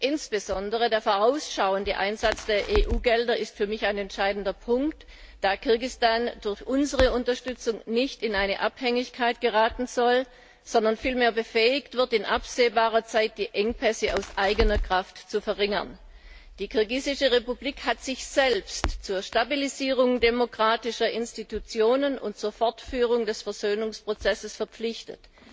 Insbesondere der vorausschauende Einsatz der EU Gelder ist für mich ein entscheidender Punkt, da Kirgisistan durch unsere Unterstützung nicht in eine Abhängigkeit geraten soll, sondern vielmehr befähigt wird, in absehbarer Zeit die Engpässe aus eigener Kraft zu verringern. Die Kirgisische Republik hat sich selbst zur Stabilisierung demokratischer Institutionen und zur Fortführung des Versöhnungsprozesses verpflichtet.